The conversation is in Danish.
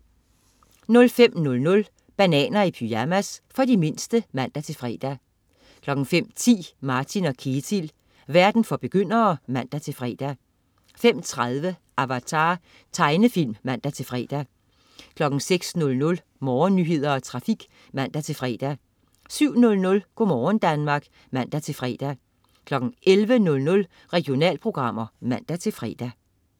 05.00 Bananer i pyjamas. For de mindste (man-fre) 05.10 Martin & Ketil. Verden for begyndere (man-fre) 05.30 Avatar. Tegnefilm (man-fre) 06.00 Morgennyheder og trafik (man-fre) 07.00 Go' morgen Danmark (man-fre) 11.00 Regionalprogrammer (man-fre)